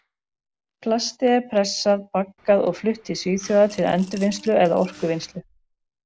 Plastið er pressað, baggað og flutt til Svíþjóðar til endurvinnslu eða orkuvinnslu.